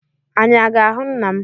Anyị a ga-ahụ nna m?